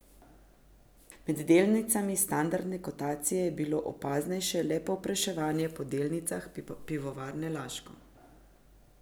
Med delnicami standardne kotacije je bilo opaznejše le povpraševanje po delnicah Pivovarne Laško.